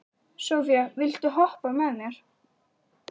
Sophia, viltu hoppa með mér?